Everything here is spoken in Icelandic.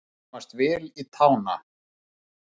Að komast vel í tána